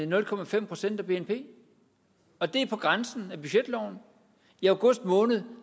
nul procent procent af bnp og det er på grænsen af budgetloven i august måned